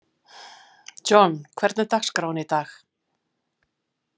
John, hvernig er dagskráin í dag?